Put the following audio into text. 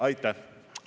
Aitäh!